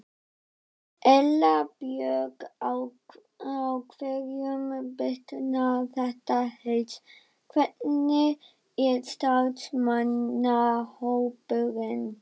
Erla Björg: Á hverjum bitnar þetta helst, hvernig er starfsmannahópurinn?